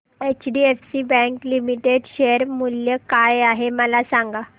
HDFC bank limited share मूल्य काय आहे मला सांगा